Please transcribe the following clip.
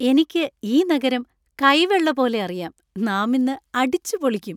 എനിക്ക് ഈ നഗരം കൈവെള്ള പോലെ അറിയാം. നാമിന്ന് അടിച്ചുപൊളിക്കും.